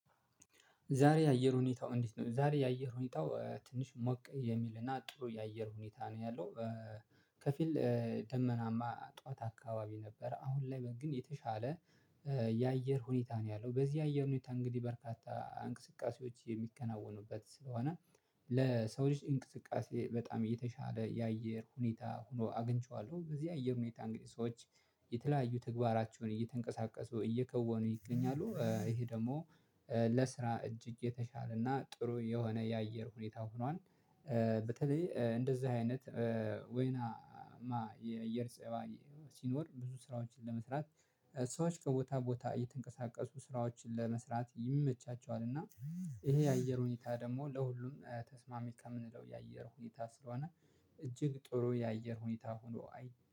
ዛሬ የአየር ሁኔታው እንዴት ነው? ዛሬ የአየር ሁኔታው ትንሽ ሞቅ የሚልና ጥሩ የአየር ሁኔታ ነው ያለው። ከፊል ደመናማ ጠዋት አካባቢ ነበረ አሁን ላይ ግን የተሻለ። የአየር ሁኔታ ነው ያለው በዚህ አየር ሁኔታ እንግዲህ በርካታ እንቅስቃሴዎች የሚከናወኑበት ስለሆነ። ለሰው ልጅ እንቅስቃሴ በጣም የተሻለ የአየር ሁኔታ ሆኖ አግኝቼዋለሁ። በዚህ አየር ሁኔታ እንግዲህ ሰዎች የተለያዩ ተግባራቸውን እየተንቀሳቀሱ እየከወኑ ይገኛሉ። ይሄ ደግሞ ለስራ እጅ እጅ የተሻለና ጥሩ የሆነ የአየር ሁኔታ ሆኗል። በተለይ እንደዚህ አይነት ወይናማ የእየር ፀባይ ሲኖር ብዙ ስራዎችን ለመስራት ሰዎች ከቦታ ቦታ እየተንቀሳቀሱ ስራዎችን ለመስራት ይመቻቸዋል። እና ይሄ የአየር ሁኔታ ደግሞ ለሁሉም ተስማሚ ከምንለው የአየር ሁኔታ ስለሆነ። እጅግ ጥሩ የአየር ሁኔታ ሆኖ አይ